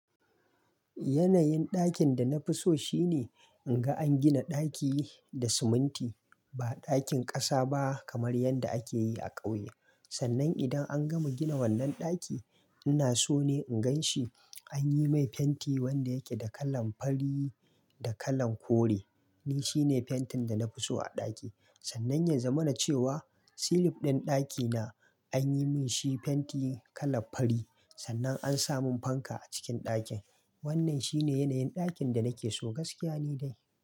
Yanayin ɗakin da na fi so shine in ga an gina ɗaki da siminti ba ɗakin ƙasa ba kamar yanda ake yi a ƙauye. Sannan idan an gama gina wannan ɗaki, ina so ne in gan shi an yi mai fenti wanda yake da kalan fari da kalan kore. Ni shine fentin da na fi so a ɗaki. Sannan yanzu mana cewa silif ɗin ɗakina an yi min shi fenti kalan fari. Sannan an sa mun fanka a cikin ɗakin. Wannan shine yanayin ɗakin da nake so gaskiya ni dai.